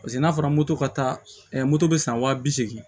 Paseke n'a fɔra moto ka taa moto bɛ san wa bi seegin